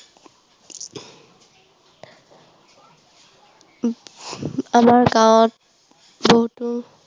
আমাৰ গাঁৱত বহুতো